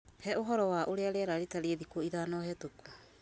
He ũhoro wa ũrĩa rĩera rĩratariĩ thikũ ithano hetũku